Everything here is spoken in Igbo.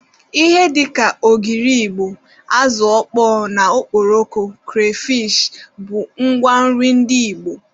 Ihe dịka ogiri igbo, azụ ọkpọọ na okporoko, kreyfishi wdg bụ ngwa nri ndị igbo